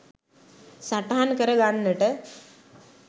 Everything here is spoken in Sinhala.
සටහන් කරගන්නට